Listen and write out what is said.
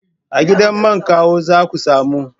A gidan man Kawu za ka samu.